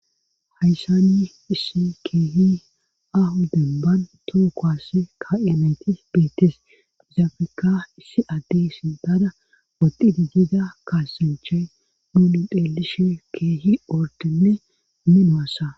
hayssani issi keehi ahuden ban tookoass ka7enayti beetes izaafika issi adde sidada odid gida kaassinchay nuuni phelishe keehi ordinne minoassa